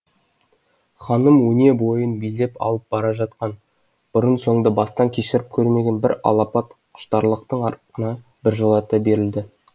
ханым өне бойын билеп алып бара жатқан бұрын соңды бастан кешіріп көрмеген бір алапат құштарлықтың ырқына біржола берілді